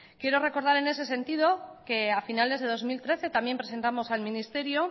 quiero recordar en ese sentido que a finales de dos mil trece también presentamos al ministerio